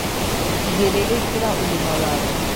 Igĩrĩrĩkĩra ũgima waku.